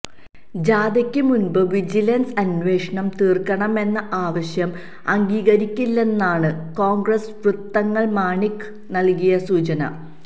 ജാഥയ്ക്ക് മുൻപ് വിജിലൻസ് അന്വേഷണം തീർക്കണമെന്ന ആവശ്യം അംഗീകരിക്കില്ലെന്നാണ് കോൺഗ്രസ് വൃത്തങ്ങൾ മാണിക്ക് നൽകിയ സൂചന